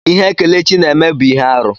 Ihe Kelechi na-eme abụ ihe arụ?